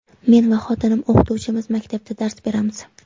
Men va xotinim o‘qituvchimiz, maktabda dars beramiz.